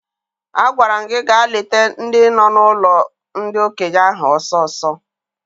Agwara m gị gaa leta ndị no n'ụlọ ndi okenye ahụ ọsọ ọsọ!